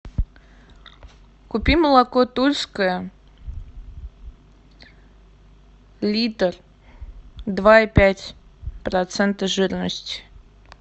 купи молоко тульское литр два и пять процента жирность